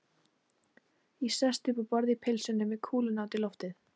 Ég sest upp á borð í pilsinu, með kúluna út í loftið.